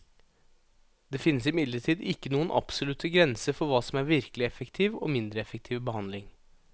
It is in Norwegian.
Det finnes imidlertid ikke noen absolutte grenser for hva som er virkelig effektiv og mindre effektiv behandling.